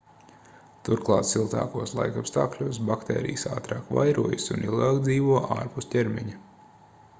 turklāt siltākos laikapstākļos baktērijas ātrāk vairojas un ilgāk dzīvo ārpus ķermeņa